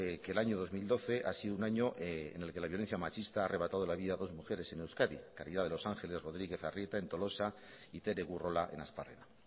que el año dos mil doce ha sido un año en el que la violencia machista ha arrebatado la vida a dos mujeres en euskadi caridad de los ángeles rodríguez arrieta en tolosa y tere burrola en asparrena